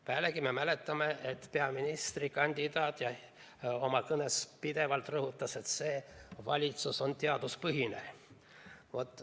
Pealegi me mäletame, et peaministrikandidaat oma kõnes pidevalt rõhutas, et see valitsus on teaduspõhine.